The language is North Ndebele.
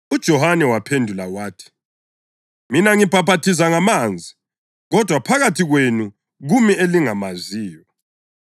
UJohane waphendula wathi, “Mina ngibhaphathiza ngamanzi, kodwa phakathi kwenu kumi elingamaziyo.